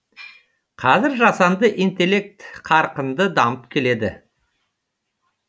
қазір жасанды интеллект қарқынды дамып келеді